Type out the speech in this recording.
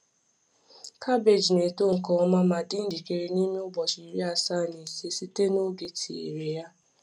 Cabbage na-eto nke ọma ma dị njikere n’ime ụbọchị iri asaa na ise site n’oge e tinyere ya.